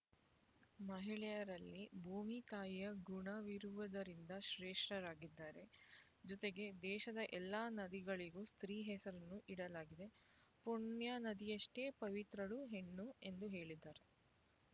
ಮಹಿಳೆಯರಲ್ಲಿ ಭೂಮಿ ತಾಯಿಯ ಗುಣವಿರುವುದರಿಂದ ಶ್ರೇಷ್ಠರಾಗಿದ್ದಾರೆ ಜೊತೆಗೆ ದೇಶದ ಎಲ್ಲ ನದಿಗಳಿಗೂ ಸ್ತ್ರೀ ಹೆಸರನ್ನು ಇಡಲಾಗಿದೆ ಪುಣ್ಯ ನದಿಯಷ್ಟೇ ಪವಿತ್ರಳು ಹೆಣ್ಣು ಎಂದು ಹೇಳಿದರು